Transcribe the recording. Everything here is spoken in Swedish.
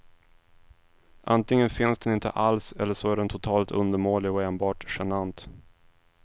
Antingen finns den inte alls eller så är den totalt undermålig och enbart genant.